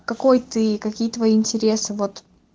какой ты какие твои интересы вот